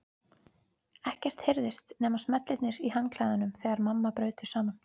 Ekkert heyrðist nema smellirnir í handklæðunum þegar mamma braut þau saman.